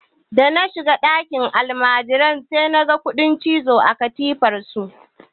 Da na shiga ɗakin almajiran naga kuɗin cizo a katifar su.